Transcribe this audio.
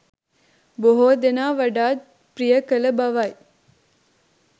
බොහෝ දෙනා වඩාත් ප්‍රිය කළ බවයි.